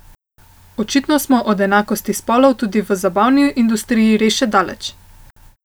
Očitno smo od enakosti spolov tudi v zabavni industriji res še daleč.